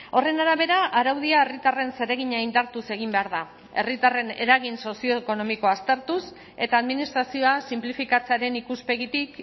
horren arabera araudia herritarren zeregina indartuz egin behar da herritarren eragin sozioekonomikoa aztertuz eta administrazioa sinplifikatzearen ikuspegitik